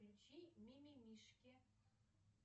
включи мимимишки